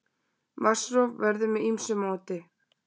Vatnsrof verður með ýmsu móti.